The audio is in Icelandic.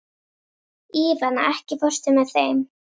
Ívana, ekki fórstu með þeim?